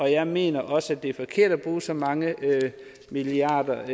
jeg mener også at det er forkert at bruge så mange milliarder